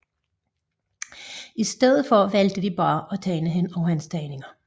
I stedet valgte de bare at tegne over hans tegninger